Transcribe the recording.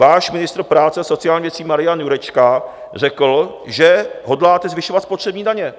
Váš ministr práce a sociálních věcí Marian Jurečka řekl, že hodláte zvyšovat spotřební daně.